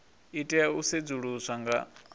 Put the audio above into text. i tea u sedzuluswa nga